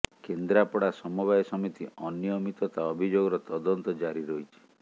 କେନ୍ଦ୍ରାପଡା ସମବାୟ ସମିତି ଅନୀୟମିତତା ଅଭିଯୋଗର ତଦନ୍ତ ଜାରି ରହିଛି